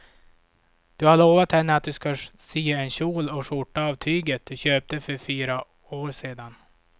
Du har lovat henne att du ska sy en kjol och skjorta av tyget du köpte för fyra år sedan.